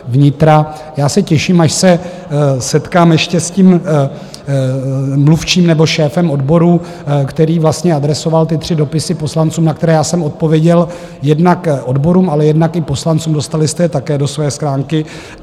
Já se těším, až se setkám ještě s tím mluvčím nebo šéfem odboru, který vlastně adresoval ty tři dopisy poslancům, na které já jsem odpověděl, jednak odborům, ale jednak i poslancům, dostali jste je také do své schránky.